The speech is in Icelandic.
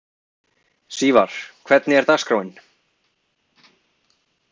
Sívar, hvernig er dagskráin?